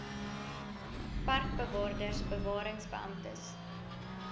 parkbewaarders bewarings beamptes